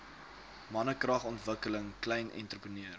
mannekragontwikkeling klein entrepreneur